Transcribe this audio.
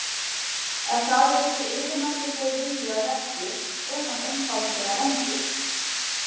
Ef þar er einhver yfirnáttúrulegur vilji að verki, er hann einfaldlega vondur.